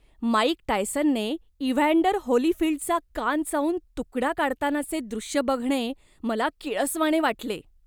Mic टायसनने Evander होलीफील्डचा कान चावून तुकडा काढतानाचे दृश्य बघणे मला किळसवाणे वाटले.